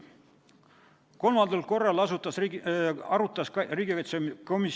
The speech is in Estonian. Kolmandal korral arutas riigikaitsekomisjon seda seadust k.a 27. mai istungil.